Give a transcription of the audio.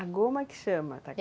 A goma que chama?